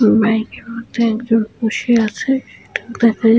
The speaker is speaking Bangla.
উম বাইক -এর মধ্যে একজন বসে আছে। এটা দেখা --